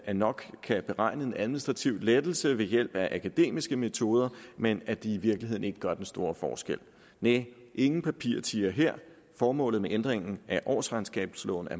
der nok kan beregnes en administrativ lettelse ved hjælp af akademiske metoder men at det i virkeligheden ikke gør den store forskel næh ingen papirtiger her formålet med ændringen af årsregnskabsloven er